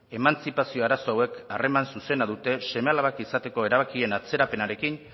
emantzipazio arazo hauek harreman zuzena dute seme alabak izateko erabakien atzerapenarekin